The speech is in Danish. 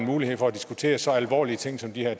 mulighed for at diskutere så alvorlige ting som de her